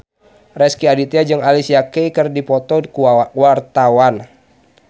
Rezky Aditya jeung Alicia Keys keur dipoto ku wartawan